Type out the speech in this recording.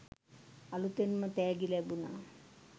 අලුතෙන්ම තෑගි ලැබුණ